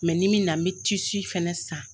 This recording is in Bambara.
n'i me na n bɛ tisi fɛnɛ san.